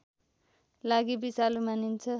लागि विषालु मानिन्छ